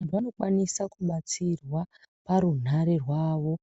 Vantu vanokwanisa kubatsirwa parunhare rwavo